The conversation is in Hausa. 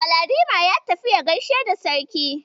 Galadima ya tafi ya gaishe da Sarki.